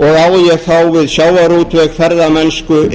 og á ég þá við sjávarútveg ferðamennsku